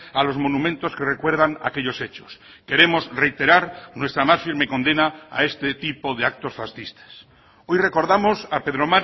a los monumentos que recuerdan aquellos hechos queremos reiterar nuestra más firme condena a este tipo de actos fascistas hoy recordamos a pedro